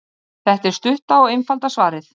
Þetta er stutta og einfalda svarið.